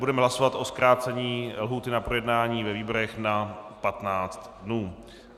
Budeme hlasovat o zkrácení lhůty na projednání ve výborech na 15 dnů.